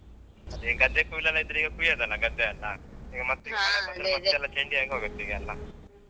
ಅದೇ ಗದ್ದೆ ಕೊಯ್ಲ್ಯೆಲ್ಲಾ ಇದ್ರೆ ಈಗ ಕೋಯ್ಯೋದಲ್ಲಾ ಗದ್ದೆಯಲ್ಲ ಈಗ ಮತ್ತೆ ಈಗ ಮಳೆ ಬಂದ್ರೆ ಮತ್ತೆಲ್ಲ ಥಂಡಿ ಆಗಿ ಹೋಗುತ್ತೆ ಈಗೆಲ್ಲ.